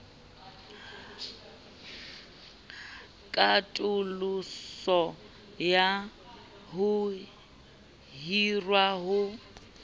katoloso ya ho hirwa ha